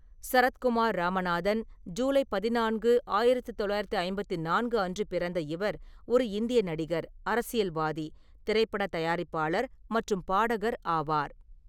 சரத்குமார் ராமநாதன், ஜூலை பதினான்கு, ஆயிரத்து தொள்ளாயிரத்து ஐம்பத்தி நான்கு அன்று பிறந்த இவர் ஒரு இந்திய நடிகர், அரசியல்வாதி, திரைப்பட தயாரிப்பாளர் மற்றும் பாடகர் ஆவார்.